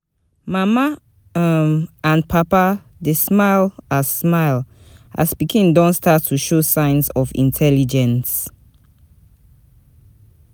Mama um and papa dey smile as smile as pikin don start to show signs of intelligence.